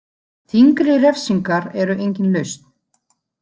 Þyngri refsingar eru engin lausn.